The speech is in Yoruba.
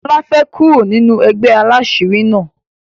lola fè kúrò nínú ègbé àlàṣiri na.